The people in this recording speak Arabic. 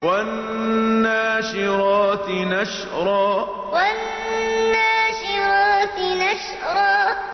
وَالنَّاشِرَاتِ نَشْرًا وَالنَّاشِرَاتِ نَشْرًا